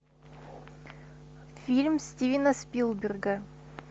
фильм стивена спилберга